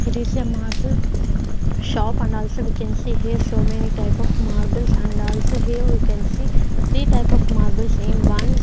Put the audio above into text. it is a marble shop and also we can see here so many type of marbles and also here we can see three type of marbles in one --